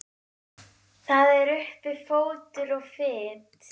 Það er uppi fótur og fit.